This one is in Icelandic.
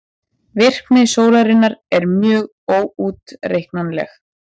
Virkni sólarinnar er mjög óútreiknanleg.